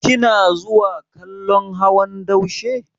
Kina zuwa kallon hawan daushe?